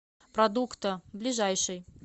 продукто ближайший